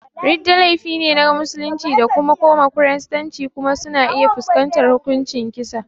Ridda laifi ne ga musulman da suka koma Kiristanci kuma suna iya fuskantar hukuncin kisa.